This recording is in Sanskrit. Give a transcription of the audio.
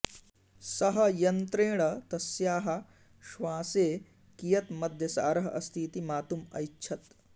सः यन्त्रेण तस्याः श्वासे कियत् मद्यसारः अस्ति इति मातुम् एच्छत्